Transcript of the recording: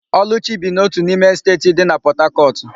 Ọlụchi bi na ótù n'ime Esteeti dị na Pọtakọtụ.